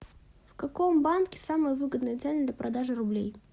в каком банке самые выгодные цены для продажи рублей